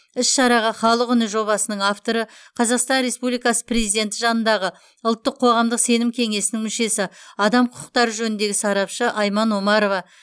іс шараға халық үні жобасының авторы қазақстан республикасы президенті жанындағы ұлттық қоғамдық сенім кеңесінің мүшесі адам құқықтары жөніндегі сарапшы айман омарова